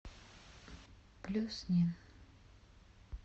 плюснин